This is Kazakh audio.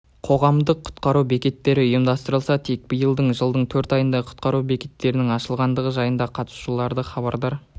қоғамдық құтқару бекеттері ұйымдастырылса тек биылғы жылдың төрт айында құтқару бекеттерінің ашылғандығы жайында қатысушыларды хабардар